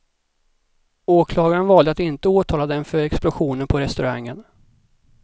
Åklagaren valde att inte åtala dem för explosionen på restaurangen.